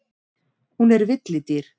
Hún er villidýr.